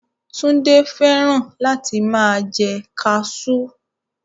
Túndé fẹ́ràn láti máa jẹ kaasú